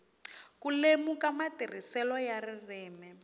ku lemuka matirhiselo ya ririmi